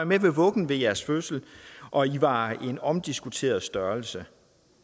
ved vuggen ved jeres fødsel og i var en omdiskuteret størrelse